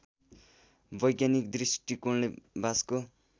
वैज्ञानिक दृष्टिकोणले बाँसको